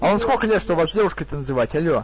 а вам сколько лет чтобы вас девушкой-то называть алло